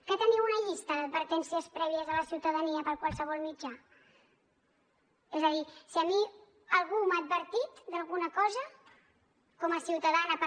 que teniu una llista d’advertències prèvies a la ciutadania per qualsevol mitjà és a dir si a mi algú m’ha advertit d’alguna cosa com a ciutadana per